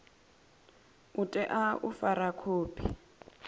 u tea u fara khophi